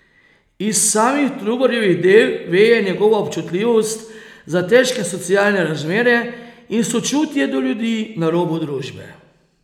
Iz samih Trubarjevih del veje njegova občutljivost za težke socialne razmere in sočutje do ljudi na robu družbe.